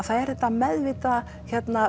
það er þetta meðvitaða